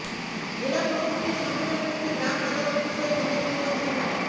জেলা প্রশাসকের সম্মেলন কক্ষে গ্রাম আদালত বিষয়ে মতবিনিময় সভা